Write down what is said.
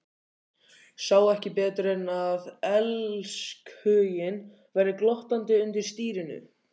Sá ekki betur en að elskhuginn væri glottandi undir stýrinu.